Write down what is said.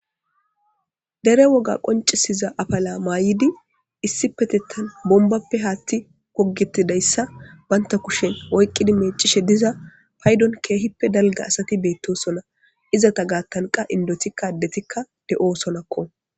Dere woga qoncisiza apila mayid issipetetan bombappe hathe gogetidaysa banta kushen oyqid mecishe diza paydon keehippe dalga asat betosona.izeta gathanka indotika adetikka de'osonako.